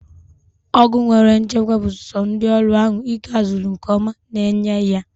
Ọgwụ nwere nchekwa bụ so ndị ọrụ ahụ ike a zuru nke ọma na enye ya